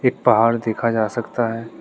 पहाड़ देखा जा सकता है।